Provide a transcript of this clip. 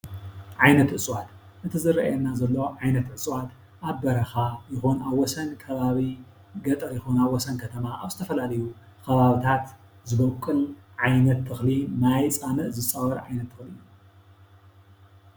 ዓይነት እፅዋት:- እቲ ዝርአየና ዘሎ ዓይነት እፅዋት ኣብ በረኻ ይኹን ኣብ ወሰን ከባቢ ገጠር ይኹን ኣብ ወሰን ከተማ ኣብ ዝተፈላለዩ ከባብታት ዝቦቅል ዓይነት ተክሊ ማይ ፃምእ ዝፃወር ዓይነት ተኽዒ እዩ።